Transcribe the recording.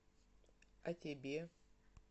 а тебе